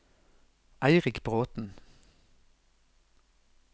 Eirik Bråthen